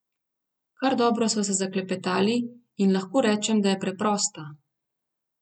Kar dobro sva se zaklepetali in lahko rečem, da je preprosta.